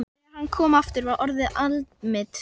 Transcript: Þegar hann kom aftur var orðið aldimmt.